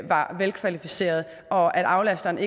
var velkvalificeret og at aflasteren